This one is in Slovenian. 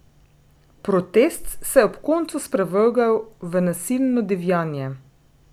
Protest se je ob koncu sprevrgel v nasilno divjanje.